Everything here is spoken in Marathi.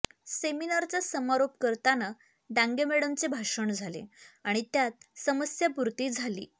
सेमिनारचा समारोप करताना डांगे मॅडमचे भाषण झाले आणि त्यात समस्यापूर्ती झाली